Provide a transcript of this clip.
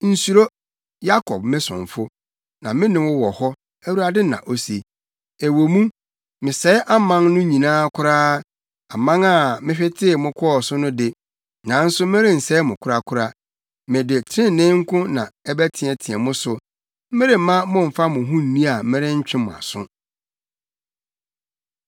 Nsuro, Yakob me somfo; na me ne wo wɔ hɔ,” Awurade na ose. “Ɛwɔ mu, mesɛe aman no nyinaa koraa aman a mehwetee mo kɔɔ so no de, nanso merensɛe mo korakora. Mede trenee nko ara na ɛbɛteɛteɛ mo so; meremma mommfa mo ho nni a merentwe mo aso.”